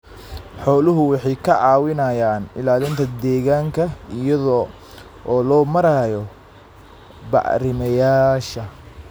Xooluhu waxay ka caawiyaan ilaalinta deegaanka iyada oo loo marayo bacrimiyeyaasha.